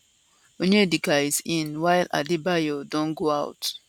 onyedika is in while adebayo don go out